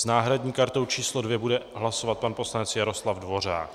S náhradní kartou číslo 2 bude hlasovat pan poslanec Jaroslav Dvořák.